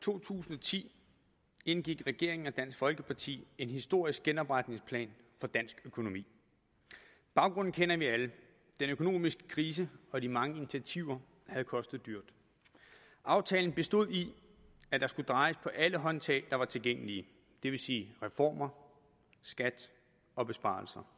to tusind og ti indgik regeringen og dansk folkeparti en historisk genopretningsplan for dansk økonomi baggrunden kender vi alle den økonomiske krise og de mange initiativer havde kostet dyrt aftalen bestod i at der skulle drejes på alle håndtag der var tilgængelige det vil sige reformer skat og besparelser